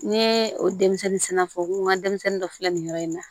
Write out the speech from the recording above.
N ye o denmisɛnnin fɔ n ko n ka denmisɛnnin dɔ filɛ nin yɔrɔ in na